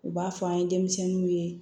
U b'a fɔ an ye denmisɛnninw ye